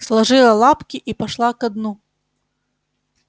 сложила лапки и пошла ко дну